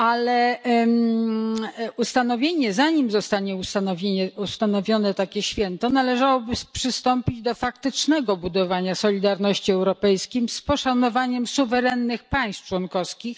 Ale zanim zostanie ustanowione takie święto, należałoby przystąpić do faktycznego budowania solidarności europejskiej, z poszanowaniem suwerennych państw członkowskich.